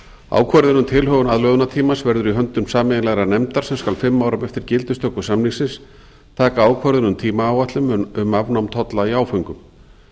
ákvörðun um tilhögun aðlögunartímans verður í höndum sameiginlegrar nefndar sem skal fimm árum eftir gildistöku samningsins taka ákvörðun um tímaáætlun um afnám tolla í áföngum